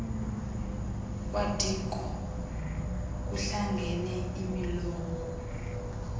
kwadiko kuhlangene imilowo